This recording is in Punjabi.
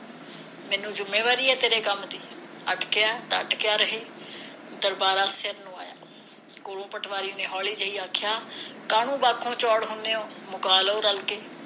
ਮੈਨੂੰ ਜੁੰਮੇਵਾਰੀ ਹੈ ਤੇਰੇ ਕੰਮ ਦੀ ਅਟਕਿਆ ਹੈ ਤਾਂ ਅਟਕਿਆ ਰਹੇ ਦਰਬਾਰਾ ਨੂੰ ਆਇਆ ਕੋਲੋ ਪਟਵਾਰੀ ਨੇ ਹੋਲੀ ਜਿਹੀ ਆਖਿਆ ਕਾਹਨੂੰ ਬਾਪੂ ਚੌੜ ਹੁੰਦੇ ਓ ਮੁਕਾ ਰੋ ਰਲ ਕੇ